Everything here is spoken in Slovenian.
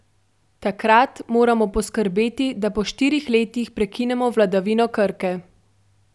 Takrat moramo poskrbeti, da po štirih letih prekinemo vladavino Krke.